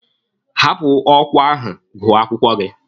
Hapụ ọkwa ahụ gụọ akwụkwọ gị!